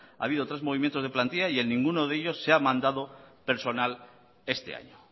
ha habido tres movimientos de plantilla y en ninguno de ellos se ha mandado personal este año